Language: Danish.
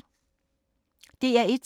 DR1